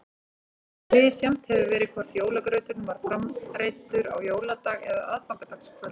Misjafnt hefur verið hvort jólagrauturinn var framreiddur á jóladag eða aðfangadagskvöld.